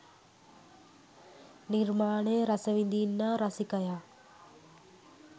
නිර්මාණය රස විඳින්නා රසිකයා